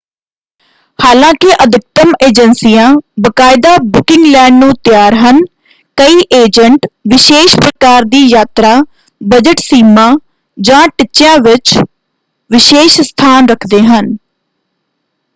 ਹਾਲਾਂਕਿ ਅਧਿਕਤਮ ਏਜੰਸੀਆਂ ਬਾਕਾਇਦਾ ਬੁਕਿੰਗ ਲੈਣ ਨੂੰ ਤਿਆਰ ਹਨ ਕਈ ਏਜੰਟ ਵਿਸ਼ੇਸ਼ ਪ੍ਰਕਾਰ ਦੀ ਯਾਤਰਾ ਬਜਟ ਸੀਮਾ ਜਾਂ ਟਿਚਿਆਂ ਵਿੱਚ ਵਿਸ਼ੇਸ਼ ਸਥਾਨ ਰੱਖਦੇ ਹਨ।